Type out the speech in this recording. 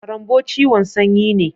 Karanbo ciwon sanyi ne.